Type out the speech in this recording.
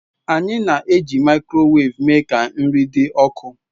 anyị na-eji microwave eme ka nri dị ọkụ.